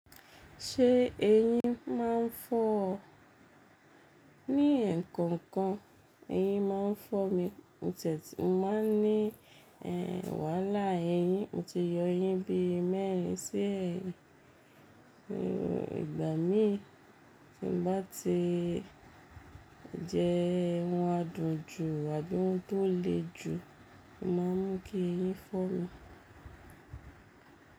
Ṣé eyín máa ń fọ́ ọ? Ní ẹ̀kọ̀okan eyín máa ń fọ́ mi. O tiẹ́ tí, mo máa ń ní wàhala eyín, mo ti yọ eyín bí mẹ́rin sí ẹ̀yin, ìgbà míi tí n bá ti jẹ ohun adùn jù àbí ohun tó le jù, o máa ń mú kí eyín fọ́ mi.